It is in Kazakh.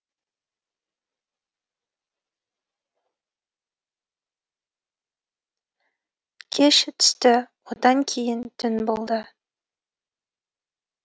кеш түсті одан кейін түн болды